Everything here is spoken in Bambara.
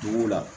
Dugu la